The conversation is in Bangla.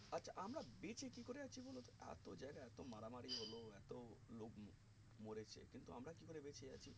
আচ্ছা আমরা বেঁচে কি করে আছি বলতো এতো মারা মারি হলো এতো লোক ম ~মরেছে কিন্তু আমরা কি করে বেঁচে আছি